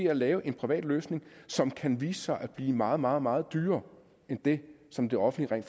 at lave en privat løsning som kan vise sig at blive meget meget meget dyrere end det som det offentlige